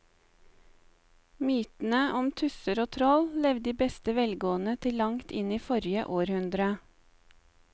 Mytene om tusser og troll levde i beste velgående til langt inn i forrige århundre.